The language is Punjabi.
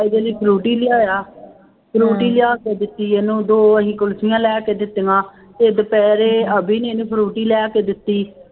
ਇਹਦੇ ਲਈ ਫਰੂਟੀ ਲਿਆਇਆ, ਫਰੂਟੀ ਲਿਆ ਕੇ ਦਿੱਤੀ ਇਹਨੂੰ ਦੋ ਅਸੀਂ ਕੁਲਫ਼ੀਆਂ ਲੈ ਕੇ ਦਿੱਤੀਆਂ ਤੇ ਦੁਪਹਿਰੇ ਅਬੀ ਨੇ ਇਹਨੂੰ ਫਰੂਟੀ ਲਿਆ ਕੇ ਦਿੱਤੀ।